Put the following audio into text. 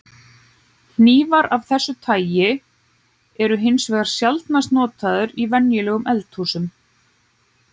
Hnífar af þessu tagi eru hins vegar sjaldnast notaðar í venjulegum eldhúsum.